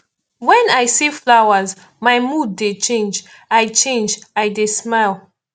wen i see flowers my mood dey change i change i dey smile